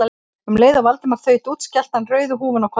Um leið og Valdimar þaut út skellti hann rauðu húfunni á kollinn.